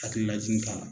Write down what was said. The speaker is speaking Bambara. Hakililajigin k'a la